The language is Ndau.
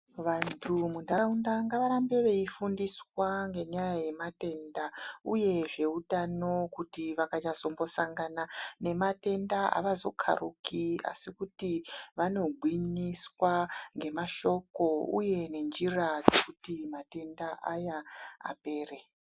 Vantu munharaunda ngavarambe veifundiswa ngenyaya dzematenda uye zveutano kuti vakanyazombosangana nematenda avazokharuki asi kuti vanogwinyiswa ngemashoko uye ngenjira dzekuti matenda aya apere.